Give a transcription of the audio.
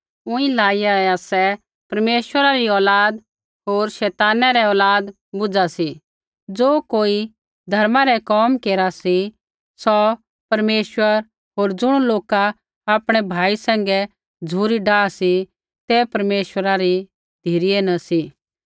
ऊँई लाईया ही आसै परमेश्वरा री औलाद होर शैताना रै औलाद बूझा सी ज़ो कोई धर्मा रै कोम केरा सी सौ परमेश्वरा होर ज़ुण लोका आपणै भाई सैंघै झ़ुरी डाह सी ते परमेश्वरा री धिरै न सी